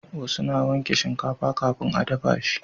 wasu na wanke shinkafa kafin a dafa shi